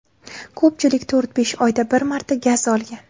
Ko‘pchilik to‘rt-besh oyda bir marta gaz olgan.